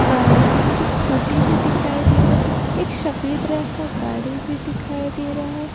गाड़ी और कुछ स्कूटी भी दिखाई दे रहे हैं एक शफेद रंग का गाड़ी भी दिखाई दे रहा है।